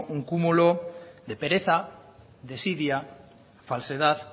un cúmulo de pereza desidia falsedad